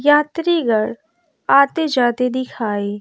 यात्रिगढ़ आते जाते दिखाई--